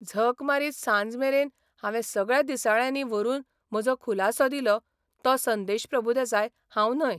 झक मारीत सांजमेरेन हांवे सगळ्या दिसाळ्यांनी व्हरून म्हजो खुलासो दिलो तो संदेश प्रभुदेसाय हांव न्हय.